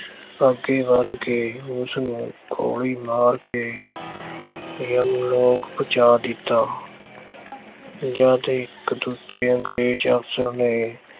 ਅੱਗੇ ਵਧ ਕੇ ਉਸਨੂੰ ਗੋਲੀ ਮਾਰ ਕੇ ਯਮ-ਲੋਕ ਪਹੁੰਚਾ ਦਿੱਤਾ। ਜਦ ਇੱਕ ਦੂਜੇ ਅੰਗਰੇਜ਼ ਅਫ਼ਸਰ ਨੇ